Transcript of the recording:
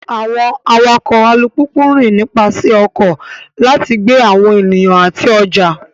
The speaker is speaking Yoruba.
Àwọn awakọ̀ alùpùpù ń rìn nípasẹ̀ ọkọ̀ láti gbé àwọn ènìyàn àti ọjà.